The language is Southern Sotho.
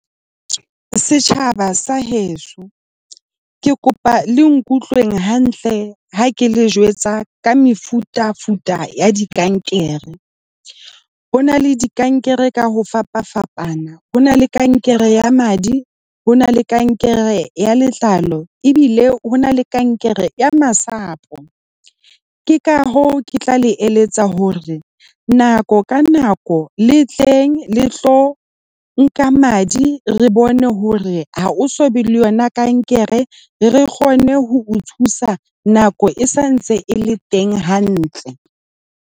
Setjhaba sa heso, ke kopa le nkutlwe hantle ha ke le jwetsa ka mefutafuta ya dikankere. Ho na le dikankere ka ho fapafapana. Ho na le kankere ya madi. Ho na le kankere ya letlalo ebile ho na le kankere ya masapo. Ke ka hoo, ke tla le eletsa hore nako ka nako le tleng le tlo nka madi, re bone hore ha o so be le yona kankere, re kgone ho o thusa nako e sa ntse e le teng hantle.